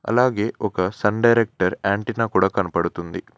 అలాగే ఒక sun director antenna కూడా కనబడుతుంది.